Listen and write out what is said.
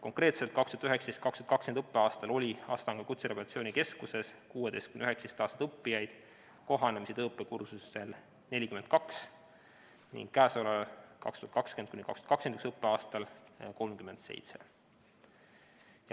Konkreetselt oli 2019/2020. õppeaastal Astangu Kutserehabilitatsiooni Keskuses 16–19-aastaseid õppijaid kohanemis- ja tööõppekursustel 42 ning käesoleval, 2020/2021. õppeaastal on neid 37.